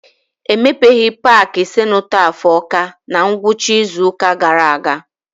E mepeghị paaki senotaf Ọka na ngwụcha izu ụka gaara aga.